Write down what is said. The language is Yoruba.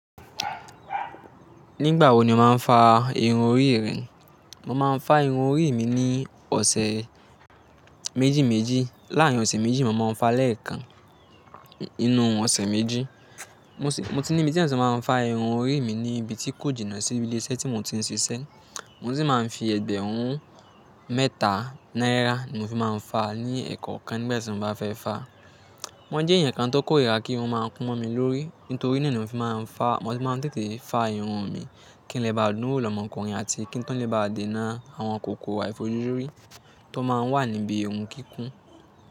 Nígbà wo ni o máa ń fa irun orí rẹ? Mo máa ń fa irun orí mi ní ọ̀sẹ̀ méjì méjì. Láàárín ọ̀sẹ̀ méjì mo máa ń fa lẹ́ẹ̀kan. Nínú ọ̀sẹ̀ méjì. Mo ti ní ìbi tí eyan ti máa ń fa irun orí mi ní ibi tí kò jìnà síbi ilé iṣẹ́ tí mo ti ń ṣiṣẹ́. Mo sì máa ń fi ẹ̀gbẹ̀rún mẹ́ta náírà ni mo fi máa ń fa ní ẹ̀ẹ̀ko kan nígbà tí mo bá fẹ́ fa. Mọ jẹ́ ẹ̀yàn kan tó kó ìri ra kí irun máa kun mọ́ mi lórí. Nítorí náà ni mo fi máa ń fa. Mo sì máa ń tètè fa irun mi kí n lè bá dúnwo lọ́mọkùnrin àti kí n tó lè bá dènà àwọn kòkòrò àìfojúrí tó máa ń wà níbi irun kíkún.